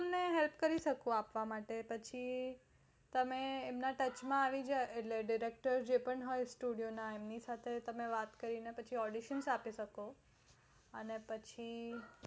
મેં help કરી શકુ છુ તમે એમની touch માં આવી જાઓ director જે હોય studio ના એમની સાથે તમે વાત કરી ને audition આપી શકો